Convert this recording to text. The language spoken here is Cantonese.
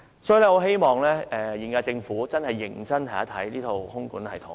所以，我希望現屆政府認真研究這套空管系統。